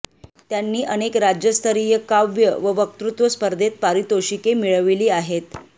त्यांनी अनेक राज्यस्तरीय काव्य व वक्तृत्व स्पर्धेत पारितोषिके मिळविली आहेत